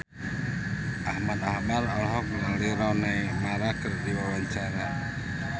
Ahmad Albar olohok ningali Rooney Mara keur diwawancara